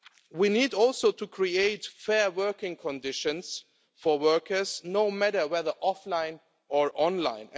We need, also, to create fair working conditions for workers, no matter whether offline or online.